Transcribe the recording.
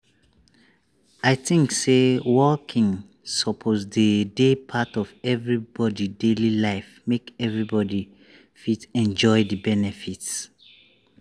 i think say walking suppose dey dey part of everybody daily life make everybody fit enjoy the benefits.